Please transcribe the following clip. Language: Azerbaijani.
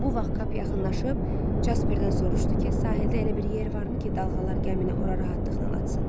Bu vaxt Kap yaxınlaşıb Jasperdən soruşdu ki, sahildə elə bir yer varmı ki, dalğalar gəmini ora rahatlıqla atsın.